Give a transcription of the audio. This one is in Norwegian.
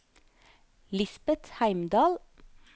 Lisbeth Heimdal